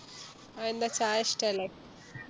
ആയെന്താ ചായ ഇഷ്ട്ടല്ലേ